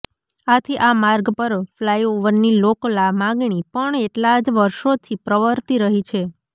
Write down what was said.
આથી આ માર્ગ પર ફ્લાઈઓવરની લોક માગણી પણ એટલા જ વર્ષોથી પ્રવર્તી રહી છે